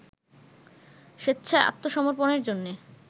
স্বেচ্ছায় আত্মসমর্পনের জন্যে